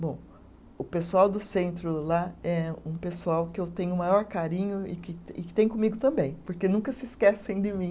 Bom, o pessoal do centro lá é um pessoal que eu tenho o maior carinho e que tem, e que tem comigo também, porque nunca se esquecem de mim.